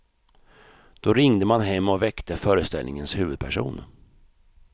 Då ringde man hem och väckte föreställningens huvudperson.